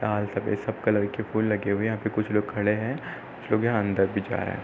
लाल सफ़ेद सब कलर के फूल लगे हुए हैं। यहाँ पे कुछ लोग खड़े हैं। कुछ लोग यहाँ अंदर भी जा रहे हैं।